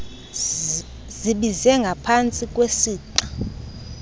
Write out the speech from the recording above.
zibize ngapantsi kwesixa